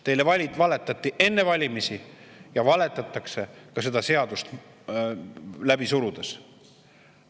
Teile valetati enne valimisi ja valetatakse ka seda seadust läbi surudes.